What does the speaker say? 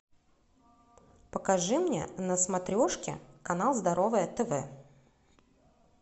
покажи мне на смотрешке канал здоровое тв